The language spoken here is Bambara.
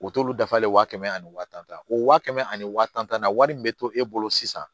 U t'olu dafalen wa kɛmɛ ani wa tan o wa kɛmɛ ani wa tan na wari min bɛ to e bolo sisan